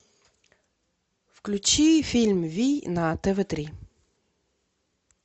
включи фильм вий на тв три